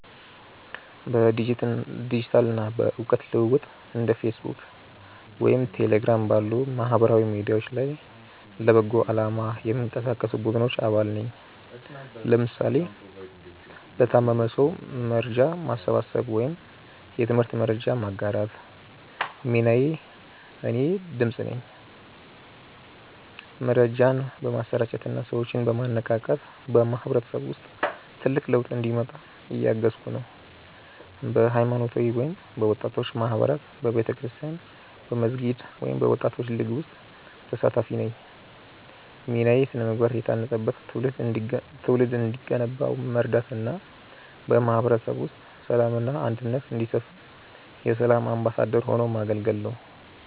በዲጂታል እና በእውቀት ልውውጥ እንደ ፌስቡክ ወይም ቴሌግራም ባሉ ማህበራዊ ሚዲያዎች ላይ ለበጎ አላማ የሚንቀሳቀሱ ቡድኖች አባል ነኝ (ለምሳሌ ለታመመ ሰው መርጃ ማሰባሰብ ወይም የትምህርት መረጃ ማጋራት) ሚናዬ እኔ "ድምፅ" ነኝ። መረጃን በማሰራጨት እና ሰዎችን በማነቃቃት በማህበረሰቡ ውስጥ ትልቅ ለውጥ እንዲመጣ እያገዝኩ ነው። በሃይማኖታዊ ወይም በወጣቶች ማህበራት በቤተክርስቲያን፣ በመስጊድ ወይም በወጣቶች ሊግ ውስጥ ተሳታፊ ነኝ ሚናዬ ስነ-ምግባር የታነጸበት ትውልድ እንዲገነባ መርዳት እና በማህበረሰቡ ውስጥ ሰላም እና አንድነት እንዲሰፍን የ"ሰላም አምባሳደር" ሆኖ ማገልገል ነው